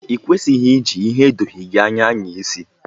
Ị kwesịghị iji ihe edoghi gị anya anyaisi